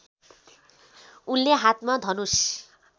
उनले हातमा धनुष